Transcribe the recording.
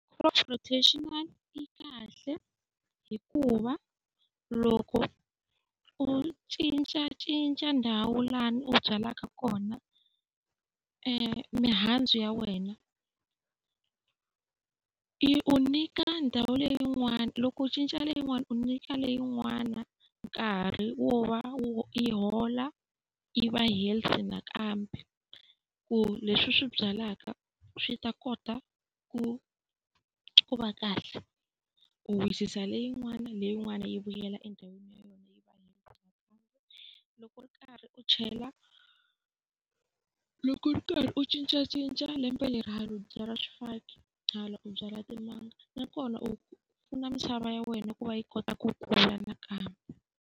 Crop rotation yi kahle hikuva loko u cincacinca ndhawu laha u byalaka kona mihandzu ya wena i u nyika ndhawu leyin'wani loko u cinca leyin'wani u nyika leyin'wana nkarhi wo va yi hola yi va health nakambe, ku leswi u swi byalaka swi ta kota ku ku va kahle. U wisisa leyin'wana leyin'wani yi vuyela endhawini ya yona . Loko u ri karhi u chela loko ri karhi u cincacinca lembe leri hala u byala swifaki hala u byala timanga, nakona u pfuna misava ya wena ku va yi kota ku kula nakambe.